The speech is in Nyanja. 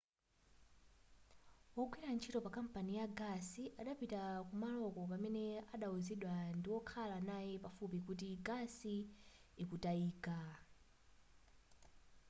wogwira ntchito pakampani ya gasi adapitaa kumaloko pamene adawuzidwa ndiwokhala naye pafupi kuti gasi akutayika